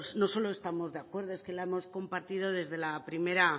no solo estamos de acuerdo es que la hemos compartido desde la primera